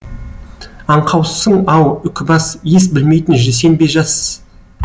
аңқаусың ау үкібас ес білмейтін сен бе жас